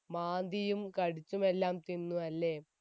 മാന്തിയും കടിച്ചും എല്ലാം തിന്നു അല്ലെ